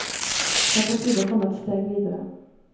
Det er på tide å komme et steg videre.